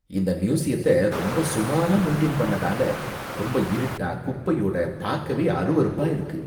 இந்த ம்யூசியத்த ரொம்ப சுமாரா மெயின்டெயின் பண்ணதனால ரொம்ப இருட்டா குப்பையோட பாக்கவே அறுவறுப்பா இருக்கு.